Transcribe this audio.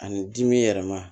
Ani dimi yɛlɛma